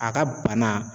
A ka bana